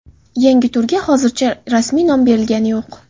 Yangi turga hozircha rasmiy nom berilgani yo‘q.